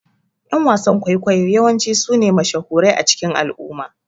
Ƴan wasan ƙwaikwayo yawanci sune mashahurai a cikin al'umma